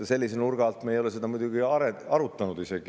Sellise nurga alt me muidugi ei ole seda isegi arutanud.